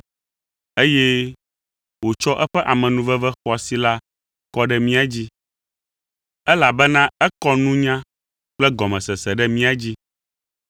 eye wòtsɔ eƒe amenuveve xɔasi la kɔ ɖe mía dzi, elabena ekɔ nunya kple gɔmesese ɖe mía dzi.